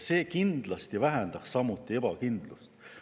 Kindlasti vähendaks see samuti ebakindlust.